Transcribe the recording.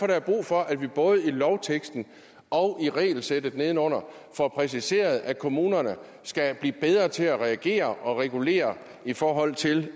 der er brug for at vi både i lovteksten og i regelsættet nedenunder får præciseret at kommunerne skal blive bedre til at reagere og regulere i forhold til